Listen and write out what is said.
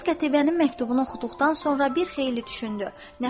İlyas Qətibənin məktubunu oxuduqdan sonra bir xeyli düşündü.